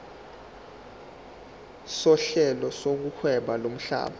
sohlelo lokuhweba lomhlaba